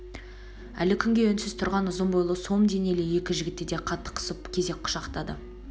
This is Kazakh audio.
әл күнге үнсіз тұрған ұзын бойлы сом денелі екі жігітті де қатты қысып кезек құшақтады